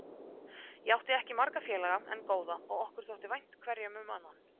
Ég átti ekki marga félaga, en góða, og okkur þótti vænt hverjum um annan.